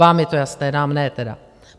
Vám je to jasné, nám ne teda.